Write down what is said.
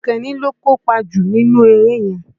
Àkànní ló kópa jù nínú eré yẹn